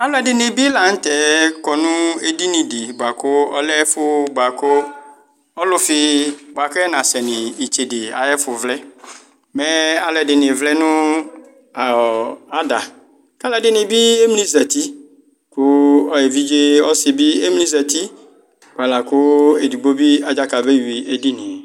Alu ɛdini bi laŋtɛ kɔ nʋ edinidi buakʋ ɔlɛ ɛfu buakʋ ɔlufi buakʋ ɛnasɛ nu itsede ayɛfuvlɛMɛɛ alu ɛdini vlɛ nʋ a ɔɔɔ adakalu ɛdini bi emli zati Kʋ evidze ɔsi bi emli zatiBualakʋ edigbo bi adzaka bewui edinie